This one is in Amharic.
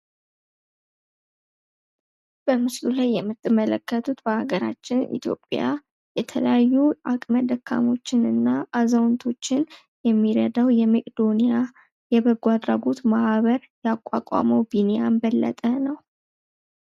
በምስሉ ላይ የምትመለከቱት በአገራችን ኢትዮጵያ የተለያዩ አቅም ደካሞችን እና አዛውንቶችን የሚረዳው የመቄዶንያ እየበጎ አድራጎት ማህበር ያቋቋመው ቢኒያም በለጠ ነው።